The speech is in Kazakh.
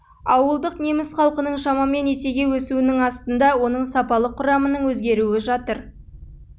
ауылдық неміс халқының шамамен есеге өсуінің астында оның сапалық құрамының өзгеруі жатыр